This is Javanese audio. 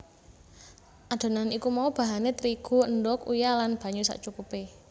Adonan iku mau bahané terigu endhog uyah lan banyu sacukupé